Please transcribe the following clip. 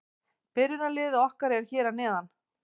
Byrjunarliðið okkar er hér að neðan.